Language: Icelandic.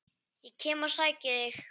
Ég kem og sæki þig!